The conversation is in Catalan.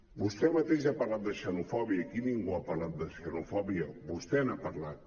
vostè mateix ha parlat de xenofòbia aquí ningú ha parlat de xenofòbia vostè n’ha parlat